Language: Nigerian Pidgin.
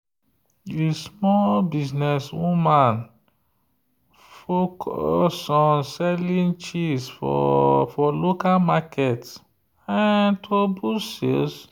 the small business woman focus on selling cheese for local market to boost sales.